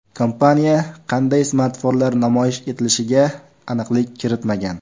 Kompaniya qanday smartfonlar namoyish etilishiga aniqlik kiritmagan.